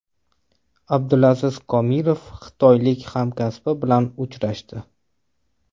Abdulaziz Kamilov xitoylik hamkasbi bilan uchrashdi.